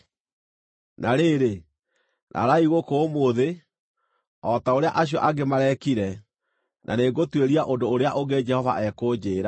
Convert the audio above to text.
Na rĩrĩ, raraai gũkũ ũmũthĩ, o ta ũrĩa acio angĩ mareekire, na nĩngũtuĩria ũndũ ũrĩa ũngĩ Jehova ekũnjĩĩra.”